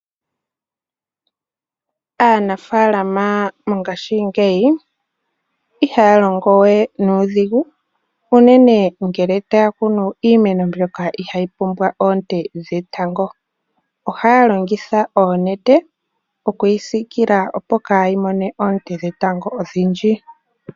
Aanafaalama mongashingeyi iha ya longo we nuudhigu, unene ngele ta ya kunu iimeno mbyoka iha yi pumbwa oonte dhetango. Oha ya longitha oonete, oku yi siikila opo yaa ha mone oonte dhetango odhindji.